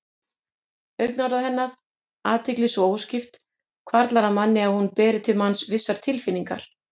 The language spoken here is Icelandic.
Augnaráð hennar, athygli svo óskipt, hvarflar að manni að hún beri til manns vissar tilfinningar.